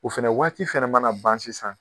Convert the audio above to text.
O fɛnɛ waati fɛnɛ mana ban sisan